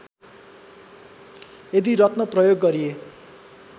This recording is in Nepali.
यदि रत्न प्रयोग गरिए